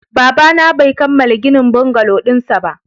Babana bai kammala ginin bungalow dinsa ba